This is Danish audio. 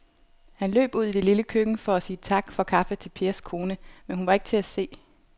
Han løb ud i det lille køkken for at sige tak for kaffe til Pers kone, men hun var ikke til at se.